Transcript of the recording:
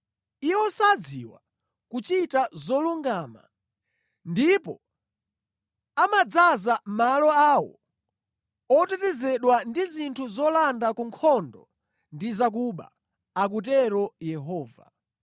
“Iwo sadziwa kuchita zolungama, ndipo amadzaza malo awo otetezedwa ndi zinthu zolanda ku nkhondo ndi zakuba,” akutero Yehova.